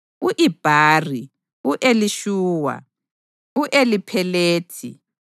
u-Ibhari, u-Elishuwa, u-Eliphelethi,